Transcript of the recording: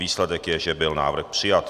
Výsledek je, že byl návrh přijat.